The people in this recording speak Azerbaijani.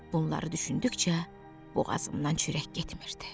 Bunları düşündükcə boğazımdan çörək getmirdi.